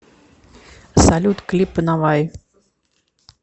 салют клипы наваи